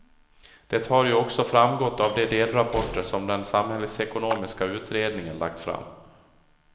Det har ju också framgått av de delrapporter som den samhällsekonomiska utredningen lagt fram.